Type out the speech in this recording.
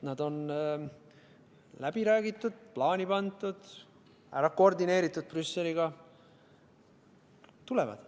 Nad on läbi räägitud, plaani pandud, ära koordineeritud Brüsseliga – tulevad.